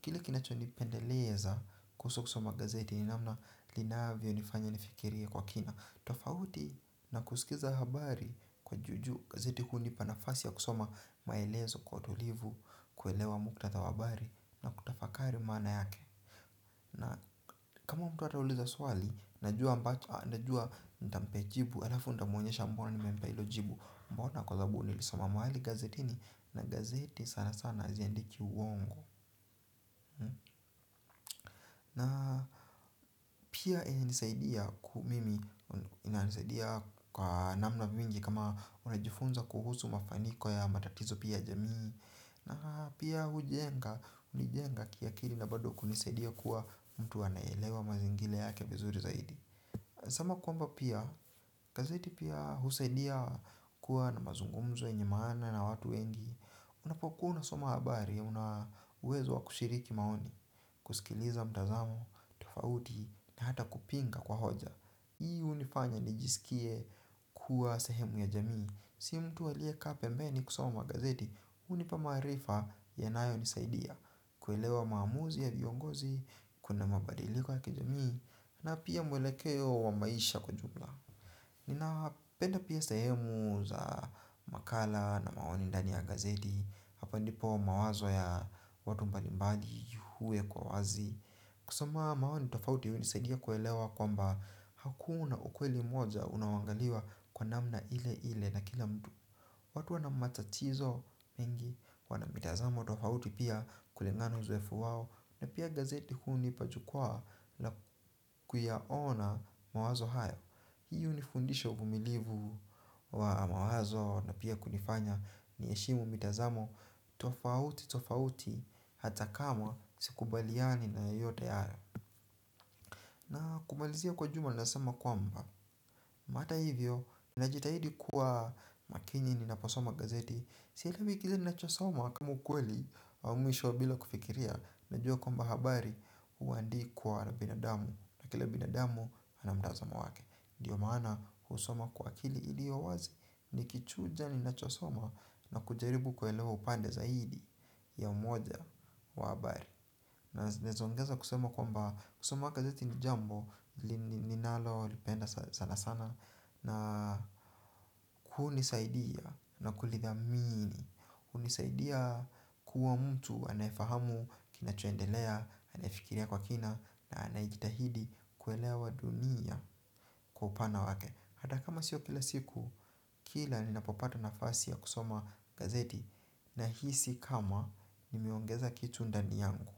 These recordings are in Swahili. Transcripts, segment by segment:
Kile kinacho nipendeleza kuhusu kusoma gazeti ni namna linavyonifanya nifikirie kwa kina. Tofauti na kusikiza habari kwa ju ju gazeti hunipa nafasi ya kusoma maelezo kwa utulivu kuelewa muktadha wa habari na kutafakari maana yake. Na kama mtu atauliza swali, najua nitampee jibu, alafu nitamuonyesha mbona nimempee ilo jibu. Mbona kwa zababu nilisoma mahali gazetini na gazeti sana sana haziandiki uwongo. Na pia inanisaidia ku mimi inanisaidia kwa namna vingi kama unajifunza kuhusu mafaniko ya matatizo pia ya jamii. Na pia hujenga, unijenga kiakili na bado kunisaidia kuwa mtu anayeelewa mazingile yake vizuri zaidi. Sama kwamba pia gazeti pia husaidia kuwa na mazungumzo yenye maana na watu wengi. Unapokua unasoma habari ya una uwezo wa kushiriki maoni. Kusikiliza mtazamo, tofauti, na hata kupinga kwa hoja. Hii unifanya nijisikie kuwa sehemu ya jamii. Si mtu aliyeka pembeni kusoma gazeti. Unipa maarifa yanayonisaidia kuelewa maamuzi ya viongozi, kuna mabadiliko ya kijamii. Na pia mwelekeo wa maisha kwa jumla. Ninapenda pia sahemu za makala na maoni ndani ya gazeti. Hapo ndipo mawazo ya watu mbalimbali huwekwa wazi. Kusoma maoni tofauti hunisaidia kuelewa kwamba hakuna ukweli moja unaoangaliwa kwa namna ile ile na kila mtu. Watu wanamatachizo mengi. Wana mitazamo tofauti pia kulingana na uzoefu wao. Na pia gazeti hunipa jukwaa na kuyaona mawazo hayo. Hii unifundisha uvumilivu wa mawazo na pia kunifanya niheshimu mitazamo. Tofauti tofauti hata kama sikubaliani na yoyote hayo. Na kumalizia kwa jumla naezasema kwamba mata hivyo, ninajitahidi kuwa makinyini ninaposoma gazeti. Sielewi kila ninachosoma kama ukweli wa mwisho bila kufikiria. Najua kwamba habari huandikwa na binadamu. Na kila binadamu anamtazamo wake. Dio maana husoma kwa akili ilio wazi. Nikichuja ninachosoma na kujaribu kuelewa upande zaidi ya umoja wa habari. Naezaongeza kusema kwamba kusoma kazi ni jambo ninalolipenda sana sana. Na hunisaidia na kulithamini. Unisaidia kuwa mtu anayefahamu kinachoendelea, anayefikiria kwa kina na anayejitahidi kuelewa dunia kwa upana wake. Hata kama sio kila siku kila ninapopata nafasi ya kusoma gazeti nahisi kama nimeongeza kitu ndani yangu.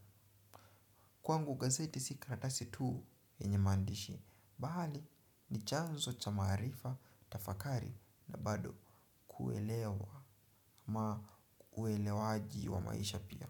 Kwangu gazeti si karatasi tu yenye maandishi, bali ni chanzo cha maarifa, tafakari na bado kuelewa ama uelewaji wa maisha pia.